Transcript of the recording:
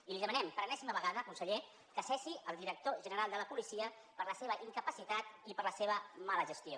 i li demanem per enèsima vegada conseller que cessi el director general de la policia per la seva incapacitat i per la seva mala gestió